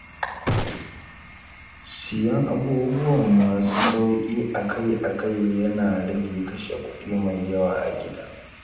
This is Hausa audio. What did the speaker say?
Siyan abubuwan masu sauƙi akai akai ya na rage kashe kuɗi mai yawa a gida.